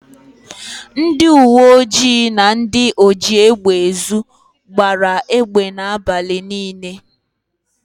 Ndịuweojii na ndị ojiégbèezu gbara égbè n' abalị niile.